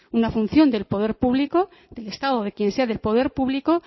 una función del poder público del estado o de quién sea del poder público